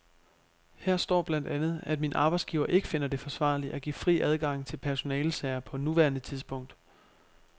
Her står blandt andet, at min arbejdsgiver ikke finder det forsvarligt at give fri adgang til personalesager på nuværende tidspunkt.